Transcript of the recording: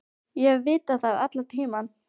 Ég hef vitað það allan tímann.